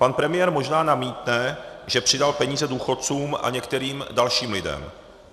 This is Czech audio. Pan premiér možná namítne, že přidal peníze důchodcům a některým dalším lidem.